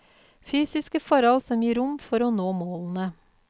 Fysiske forhold som gir rom for å nå målene.